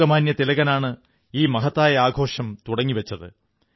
ലോകമാന്യ തിലകനാണ് ഈ മഹത്തായ ആഘോഷം തുടങ്ങിവച്ചത്